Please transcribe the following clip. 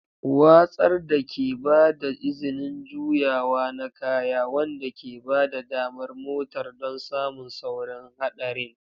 Watsar da ke ba da izinin juyawa na kaya, wanda ke ba da damar motar don samun saurin haɗarin.